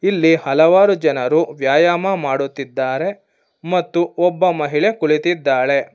ಇಲ್ಲಿ ಹಲವಾರು ಜನರು ವ್ಯಾಯಾಮ ಮಾಡುತ್ತಿದ್ದಾರೆ ಮತ್ತು ಒಬ್ಬ ಮಹಿಳೆ ಕುಳಿತಿದ್ದಾಳೆ.